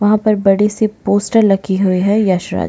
वहाँ पर बड़ी सी पोस्टर लगी हुए है यश राज की--